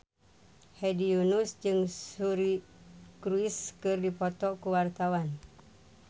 Hedi Yunus jeung Suri Cruise keur dipoto ku wartawan